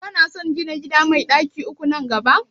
Shin kana son gina gida mai ɗaki uku nan gaba?